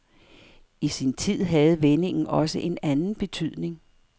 I sin tid havde vendingen også en anden betydning.